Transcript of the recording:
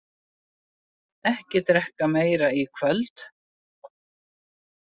Ekki drekka meira í kvöld.